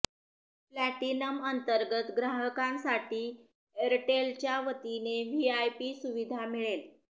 platinum अंतर्गत ग्राहकांसाठी एअरटेलच्या वतीने व्हीआयपी सुविधा मिळेल